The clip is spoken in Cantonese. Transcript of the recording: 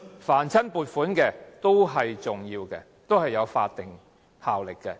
凡是撥款，都是重要的，都是有法定效力的。